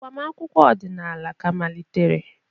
Agbamakwụkwọ ọdịnala ka malitere.